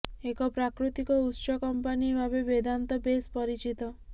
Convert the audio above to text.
ଏକ ପ୍ରାକୃତିକ ଉତ୍ସ କମ୍ପାନୀ ଭାବେ ବେଦାନ୍ତ ବେଶ୍ ପରିଚିତ